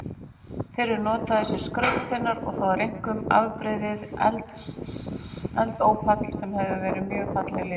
Þeir eru notaðir sem skrautsteinar og þá einkum afbrigðið eldópall sem hefur mjög falleg litbrigði.